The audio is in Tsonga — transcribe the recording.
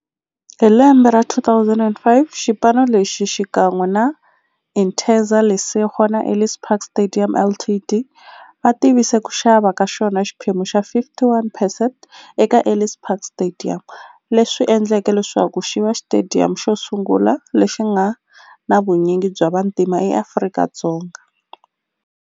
Hi lembe ra 2005, xipano lexi, xikan'we na Interza Lesego na Ellis Park Stadium Ltd, va tivise ku xava ka xona xiphemu xa 51 percent eka Ellis Park Stadium, leswi endleke leswaku xiva xitediyamu xosungula lexi nga na vunyingi bya vantima eAfrika-Dzonga.